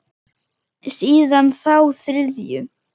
Síðan þá þriðju.